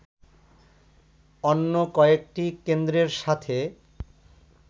অন্য কয়েকটি কেন্দ্রের সাথে